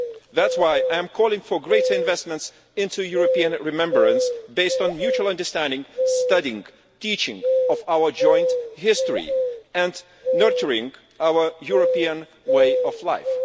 That's why I am calling for greater investment in European remembrance based on mutual understanding, studying, teaching our joint history and nurturing our European way of life.